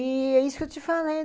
E é isso que eu te falei.